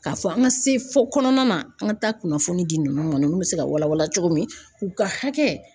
K'a fɔ an ka se fɔ kɔnɔna na an ka taa kunnafoni di ninnu ma ninnu bɛ se ka wala wala cogo min u ka hakɛ